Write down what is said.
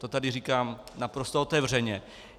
To tady říkám naprosto otevřeně.